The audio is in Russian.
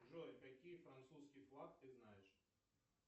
джой какие французский флаг ты знаешь